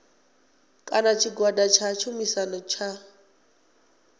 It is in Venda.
kana tshigwada tsha tshumisano tsha